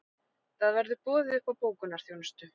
Það verður boðið upp á bókunarþjónustu